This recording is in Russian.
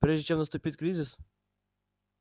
прежде чем наступит кризис